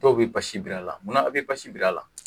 Dɔw bɛ basi biri a la munna aw bɛ basi biri a la